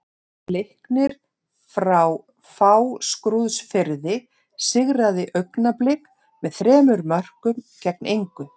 Leiknir frá Fáskrúðsfirði sigraði Augnablik með þremur mörkum gegn engu.